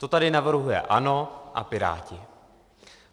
To tady navrhuje ANO a Piráti.